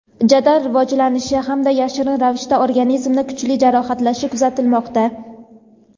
jadal rivojlanishi hamda yashirin ravishda organizmni kuchli jarohatlashi kuzatilmoqda.